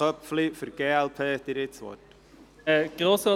Wir können die Debatte verlängern.